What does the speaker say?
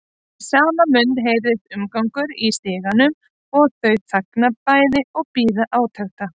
Í sama mund heyrist umgangur í stiganum og þau þagna bæði og bíða átekta.